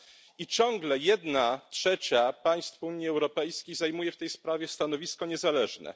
I ciągle jedna trzecia państw Unii Europejskiej zajmuje w tej sprawie stanowisko niezależne.